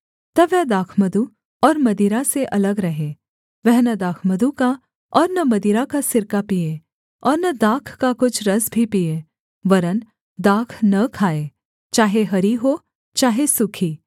तब वह दाखमधु और मदिरा से अलग रहे वह न दाखमधु का और न मदिरा का सिरका पीए और न दाख का कुछ रस भी पीए वरन् दाख न खाए चाहे हरी हो चाहे सूखी